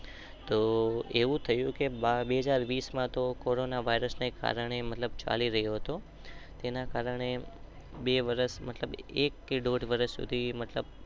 તો એવું થયું કે બે હાજર વીસ માં તો મતલબ ચાલી રહ્યું હતું.